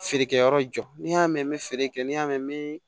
Feerekɛyɔrɔ jɔ n'i y'a mɛn n bɛ feere kɛ n'i y'a mɛn bi